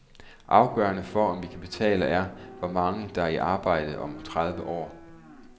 Afgørende for om vi kan betale er, hvor mange der er i arbejde om tredive år.